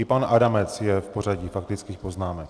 I pan Adamec je v pořadí faktických poznámek.